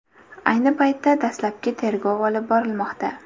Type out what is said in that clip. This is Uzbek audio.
Ayni paytda dastlabki tergov olib borilmoqda.